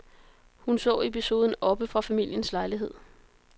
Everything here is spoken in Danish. Hun så episoden oppe fra familiens lejlighed.